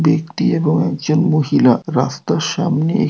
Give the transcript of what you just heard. ব্যক্তি এবং একজন মহিলা রাস্তার সামনে--